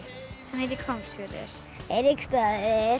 hann heitir Hvammsfjörður Eiríksstaðir